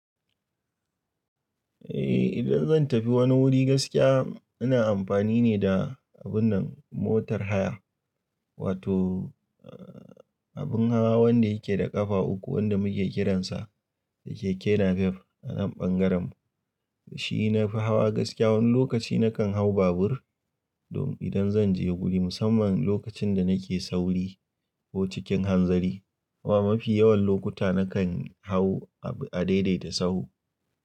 Eh idan zan tafi wani wuri gaskiya ina amfani ne da abun nan motar haya wato abun hawa wanda yake da ƙafa uku wanda muke kiransa keke napep a nan ɓangaren mu. Da shi nafi hawa gaskiya wani lokaci na kan hau babur don idan zan je wuri musamman lokacin da nake sauri ko cikin hanzari amma mafi yawan lokuta na kan hau a daidaita sau.